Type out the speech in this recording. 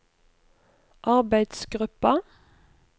arbeidsgruppa